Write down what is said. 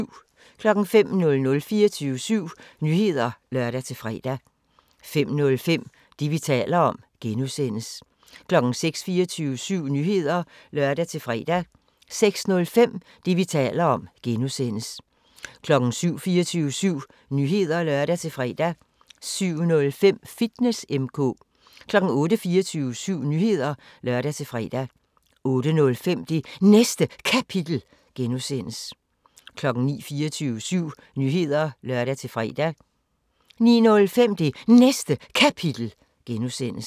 05:00: 24syv Nyheder (lør-fre) 05:05: Det, vi taler om (G) 06:00: 24syv Nyheder (lør-fre) 06:05: Det, vi taler om (G) 07:00: 24syv Nyheder (lør-fre) 07:05: Fitness M/K 08:00: 24syv Nyheder (lør-fre) 08:05: Det Næste Kapitel (G) 09:00: 24syv Nyheder (lør-fre) 09:05: Det Næste Kapitel (G)